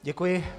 Děkuji.